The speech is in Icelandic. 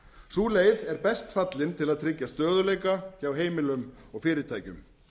sú leið er best fallin til að tryggja stöðugleika hjá heimilum og fyrirtækjum